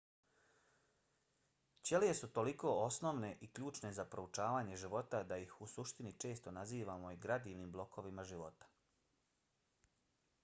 ćelije su toliko osnovne i ključne za proučavanje života da ih u suštini često nazivamo i gradivnim blokovima života